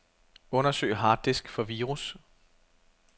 Undersøg harddisk for virus.